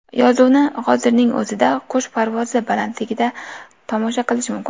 Yozuvni hozirning o‘zida qush parvozi balandligidan tomosha qilish mumkin.